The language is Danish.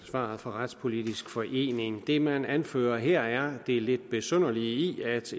svaret fra retspolitisk forening det man anfører her er det lidt besynderlige i at